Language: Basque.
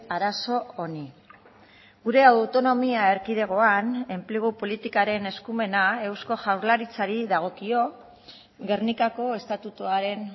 arazo honi gure autonomia erkidegoan enplegu politikaren eskumena eusko jaurlaritzari dagokio gernikako estatutuaren